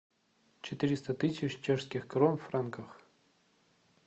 четыреста тысяч чешских крон в франках